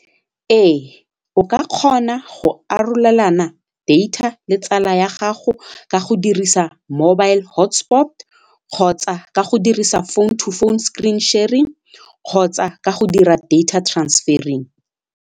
Ee o ka kgona go arolelana data le tsala ya gago ka go dirisa mobile hotspot kgotsa ka go dirisa phone to phone screen sharing kgotsa ka go dira data transferring.